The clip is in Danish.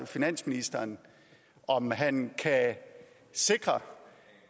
finansministeren om han kan sikre